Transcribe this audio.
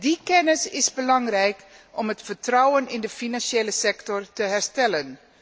Die kennis is belangrijk om het vertrouwen in de financiële sector te herstellen.